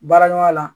Baara ɲɔgɔnya la